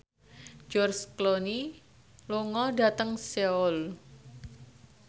George Clooney lunga dhateng Seoul